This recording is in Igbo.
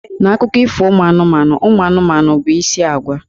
N'Akụkọ Ifo ụmụ anụmanụ, ụmụ anụmanụ bụ isi ágwà.